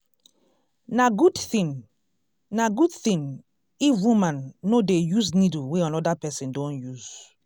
na good thing na good thing if woman no dey use needle wey another person don use.